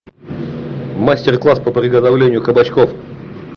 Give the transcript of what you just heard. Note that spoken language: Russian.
мастер класс по приготовлению кабачков